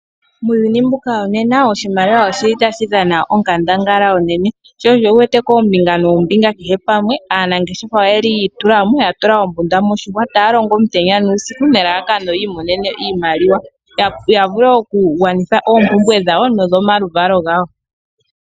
Muuyuni mbuka wonena oshimaliwa otashi dhana onkandangala onene. Sho osho wu wete koombinga noombinga kehe pamwe aanangeshefa oyi itula mo, ya tula ombunda moshihwa, taya longo omutenya nuusiku nelalakano yi imonene iimaliwa, ya vule okugwanitha oompumbwe dhawo nodhomaluvalo gawo.